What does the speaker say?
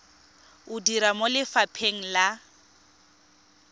o dira mo lefapheng la